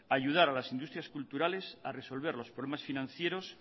ayudar a las industrias culturales a resolver los problemas financieros